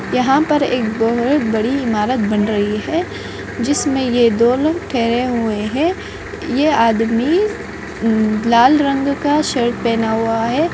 यहाँ पर एक बहुत बड़ी इमारत बन रही हैं जिसमे ये दो लोग ठहरे हुए हैं ये आदमी लाल रंग का टी-शर्ट पहना हुआ है।